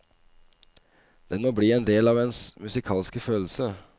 Den må bli en del av ens musikalske følelse.